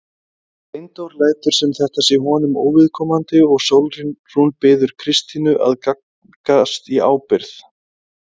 Steindór lætur sem þetta sé honum óviðkomandi og Sólrún biður Kristínu að gangast í ábyrgð.